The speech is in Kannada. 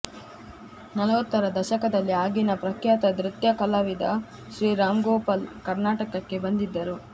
ನಲವತ್ತರ ದಶಕದಲ್ಲಿ ಆಗಿನ ಪ್ರಖ್ಯಾತ ನೃತ್ಯ ಕಲಾವಿದ ಶ್ರೀ ರಾಮ್ಗೋಪಾಲ್ ಕರ್ನಾಟಕಕ್ಕೆ ಬಂದಿದ್ದರು